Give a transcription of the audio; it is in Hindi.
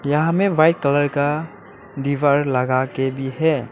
यहाँ में वाइट कलर का दीवार लगाके भी है।